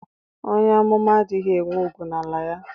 Onye amụma adịghị enwe ùgwù n'ala ya.